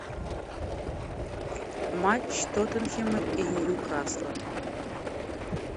матч тоттенхэма и ньюкасла